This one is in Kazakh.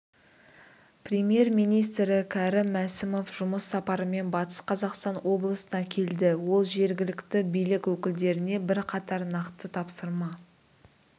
премьер-министрі кәрім мәсімов жұмыс сапарымен батыс қазақстан облысына келді ол жергілікті билік өкілдеріне бірқатар нақты тапсырма